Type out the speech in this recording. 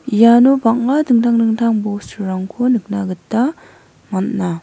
iano bang·a dingtang dingtang bosturangko nikna gita man·a.